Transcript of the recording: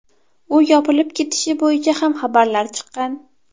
U yopilib ketishi bo‘yicha ham xabarlar chiqqan.